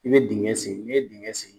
I be dingɛ sen ni ye dingɛ sen